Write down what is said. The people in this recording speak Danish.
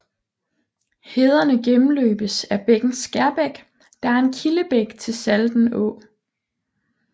Hederne gennemløbes af bækken Skærbæk der er en kildebæk til Salten Å